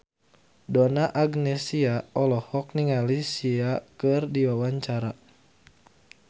Donna Agnesia olohok ningali Sia keur diwawancara